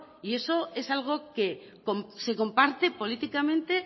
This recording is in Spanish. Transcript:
y eso es algo que se comparte políticamente